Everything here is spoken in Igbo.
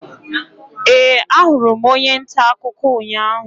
Ee, ahụrụ m onye nta akụkọ ụnyahụ.